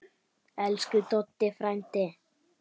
Elsku Doddi frændi.